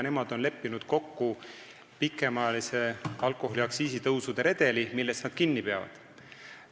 Nemad on kokku leppinud pikemaajalise alkoholiaktsiisi tõusude redeli, millest nad kinni peavad.